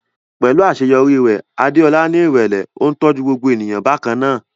Pẹ̀lú àṣeyọrí rẹ̀, Adeola ní ìrẹ̀lẹ̀, ó ń tọ́jú gbogbo ènìyàn bákan náà.